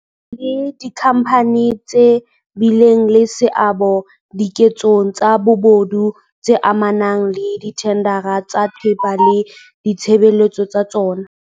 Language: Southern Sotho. Batho le dikhampani tse bileng le seabo dike tsong tsa bobodu tse amanang le dithendara tsa thepa le ditshebele tso tsa.